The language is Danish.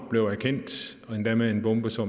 usa